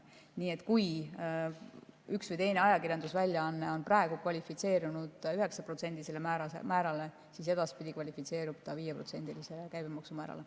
Nii et kui üks või teine ajakirjandusväljaanne on praegu kvalifitseerunud 9%‑lisele määrale, siis edaspidi kvalifitseerub ta 5%‑lisele käibemaksumäärale.